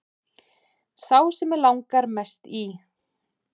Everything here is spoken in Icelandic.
Sá sem mig langar mest í